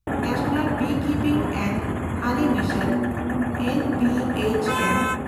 national beekeeping and honey mission (NBHM)